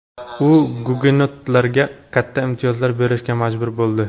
U gugenotlarga katta imtiyozlar berishga majbur bo‘ldi.